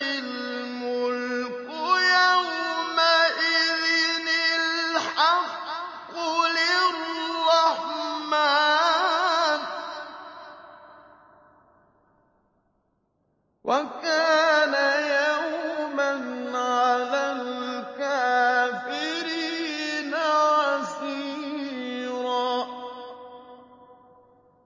الْمُلْكُ يَوْمَئِذٍ الْحَقُّ لِلرَّحْمَٰنِ ۚ وَكَانَ يَوْمًا عَلَى الْكَافِرِينَ عَسِيرًا